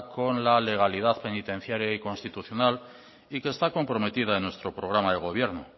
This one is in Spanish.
con la legalidad penitenciara y constitucional y que está comprometida en nuestro programa de gobierno